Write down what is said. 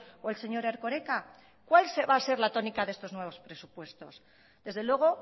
o el señor erkoreka cuál se va a ser la tónica de estos nuevos presupuestos desde luego